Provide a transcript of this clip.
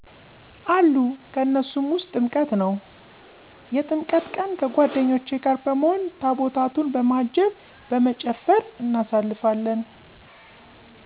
አሉ ከነሱም ውስጥ ጥምቀት ነው። የጥምቀት ቀን ከጓደኞቼ ጋር በመሆን ታቦታቱን በማጀብ በመጨፈር እናሳልፋለን።